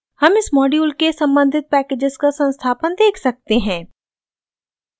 हम इस मॉड्यूल के सम्बंधित पैकेजेस का संस्थापन देख सकते हैं